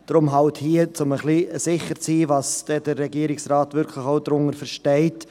Deshalb hier der Antrag, um sicher zu sein, was der Regierungsrat wirklich darunter versteht.